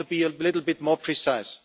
I want to be a little bit more precise.